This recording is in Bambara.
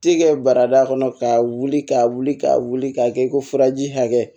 Tikɛ barada kɔnɔ k'a wuli k'a wuli k'a wuli k'a kɛ ko furaji hakɛ